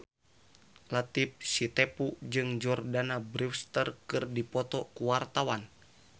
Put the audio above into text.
Latief Sitepu jeung Jordana Brewster keur dipoto ku wartawan